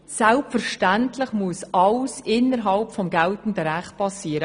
Selbstverständlich muss alles innerhalb des geltenden Rechts geschehen.